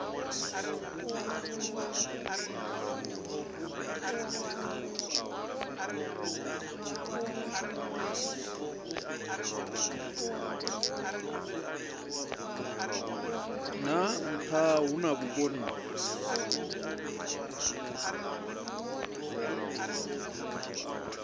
ha nha hu na vhukoni